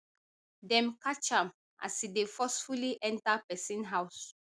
dem catch am as e dey forcefully enta pesin house